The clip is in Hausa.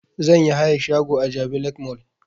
Zan yi hayan shago a jabi lake mall